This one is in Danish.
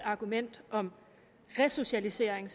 argument om resocialisering